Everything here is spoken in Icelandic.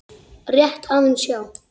Rétt aðeins, já.